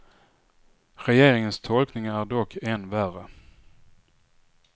Regeringens tolkning är dock än värre.